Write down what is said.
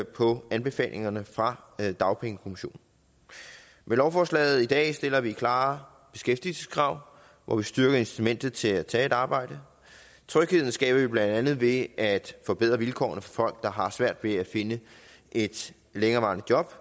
på anbefalingerne fra dagpengekommissionen med lovforslaget i dag stiller vi klare beskæftigelseskrav hvor vi styrker incitamentet til at tage et arbejde trygheden skaber vi blandt andet ved at forbedre vilkårene for der har svært ved at finde et længerevarende job